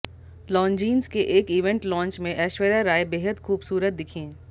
Longines के एक event launch में ऐश्वर्या राय बेहद खूबसूरत दिखीं